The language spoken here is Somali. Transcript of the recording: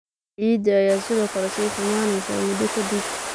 Ciidda ayaa sidoo kale sii xumaanaysay muddo ka dib.